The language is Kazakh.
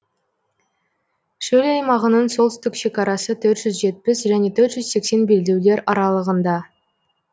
шөл аймағының солтүстік шекарасы төрт жүз жетпіс және төрт жүз сексен белдеулер аралығында